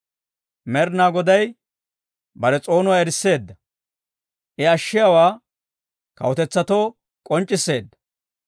Med'inaa Goday bare s'oonuwaa erisseedda; I ashshiyaawaa kawutetsatoo k'onc'c'isseedda.